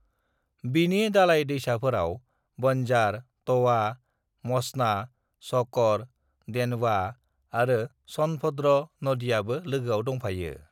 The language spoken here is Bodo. "बिनि दालाय दैसाफोराव बंजार, तवा, मचना, शकर, देनवा आरो सोनभद्र नदियाँबो लोगोआव दंफायो।"